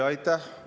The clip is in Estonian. Aitäh!